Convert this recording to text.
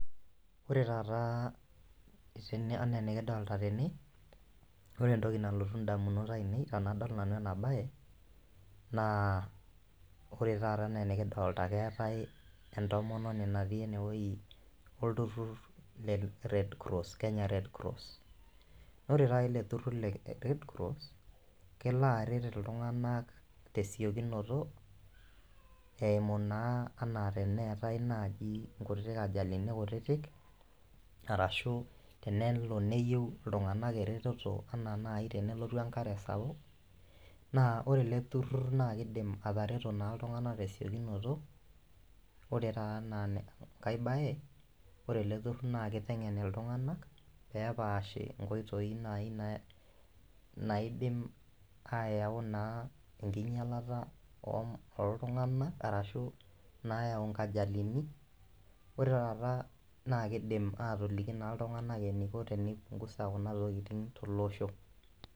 Ore taata tene anaa enikidolta tene ore entoki nalotu indamunot ainei tanadol nanu ena baye naa ore taata enaa enikidolta naa keetae entomononi natii enewueji olturrur le [csred cross kenya red cross nore taata ele turrur le red cross kelo aret iltung'anak tesiokinoto eimu naa anaa teneetae naaji nkutitik ajalini kutitik arashu tenelo neyieu iltung'anak eretoto anaa naaji tenelotu enkare sapuk naa ore ele turrur naa kidim atareto naa iltung'anak tesiokinoto ora taa enaa enkae baye ore ele turrur naa kiteng'en iltung'anak pepaashi inkoitoi naaji naidim ayau naa enkinyialata om oltung'anak arashu nayau nkajalini ore taata naa kidim atoliki naa iltung'anak eniko tenipungusa kuna tokiting tolosho.